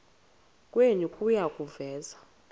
kwenu kuya kuveza